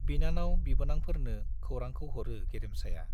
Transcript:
बिनानाव बिबोनांफोरनो खौरांखौ हरो गेरेमसाया।